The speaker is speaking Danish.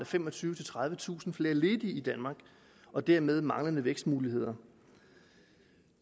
femogtyvetusind tredivetusind flere ledige i danmark og dermed manglende vækstmuligheder